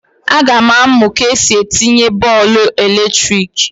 A ga m amụ ka esi etinye polụ ọkụ eletrik